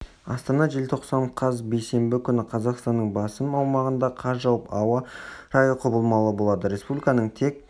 астана желтоқсан қаз бейсенбі күні қазақстанның басым аумағында қар жауып ауа райы құбылмалы болады республиканың тек